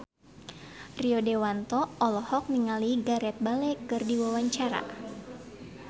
Rio Dewanto olohok ningali Gareth Bale keur diwawancara